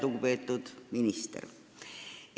Lugupeetud minister!